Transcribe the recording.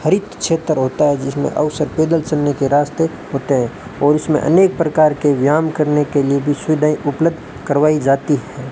हरित क्षेत्र होता है जिसमें और सब पैदल चलने के रास्ते होते हैं और उसमें अनेक प्रकार के व्याम करने के लिए भी सुविधा उपलब्ध करवाई जाती हैं।